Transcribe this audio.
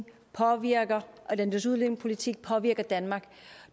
eus udlændingepolitik påvirker danmark